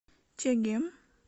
чегем